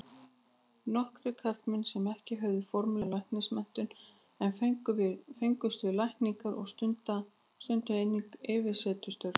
Nokkrir karlmenn sem ekki höfðu formlega læknismenntun en fengust við lækningar, stunduðu einnig yfirsetustörf.